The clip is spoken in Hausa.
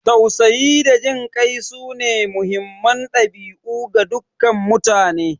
Tausayi da jin kai sune muhimman dabi'u ga dukkan mutane.